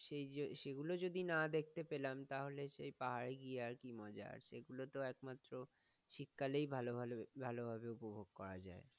সেই সেগুলো যদি না দেখতে পেলাম, তাহলে পাহাড়ে গিয়ে আর কি মজা? সেইগুলোতো একমাত্র শীতকালেই ভালভাবে উপভোগ করা যায়।